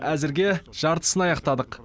әзірге жартысын аяқтадық